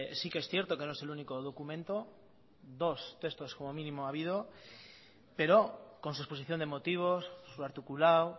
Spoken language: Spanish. sí que es cierto que no es el único documento dos textos como mínimo ha habido pero con su exposición de motivos su articulado